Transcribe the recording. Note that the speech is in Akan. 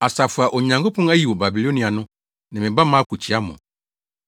Asafo a Onyankopɔn ayi wɔ Babilonia no ne me ba Marko kyia mo.